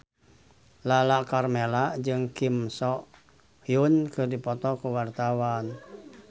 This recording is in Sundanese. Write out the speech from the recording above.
Lala Karmela jeung Kim So Hyun keur dipoto ku wartawan